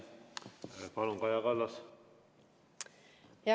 Palun, Kaja Kallas!